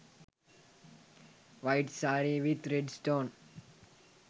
white saree with red stone